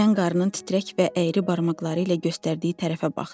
Mən qaranın titrək və əyri barmaqları ilə göstərdiyi tərəfə baxdım.